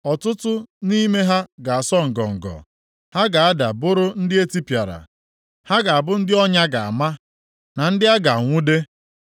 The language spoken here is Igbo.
Ọtụtụ nʼime ha ga-asọ ngọngọ; ha ga-ada bụrụ ndị e tipịara. Ha ga-abụ ndị ọnya ga-ama, na ndị a ga-anwude.”